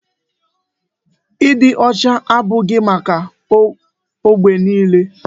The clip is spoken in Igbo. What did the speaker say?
Ịdị ọcha abụghị maka ógbè niile.